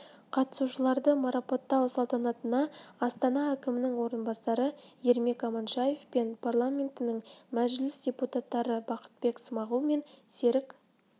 қатысушыларды марапаттау салтанатына астана әкімінің орынбасары ермек аманшаев пен парламентінің мәжіліс депутаттары бақытбек смағұл мен серік